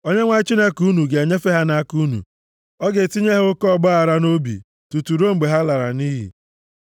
Onyenwe anyị Chineke unu ga-enyefe ha nʼaka unu, ọ ga-etinye ha oke ọgbaaghara nʼobi, tutu ruo mgbe ha lara nʼiyi.